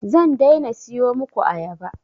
Zan daina siyo muku ayaba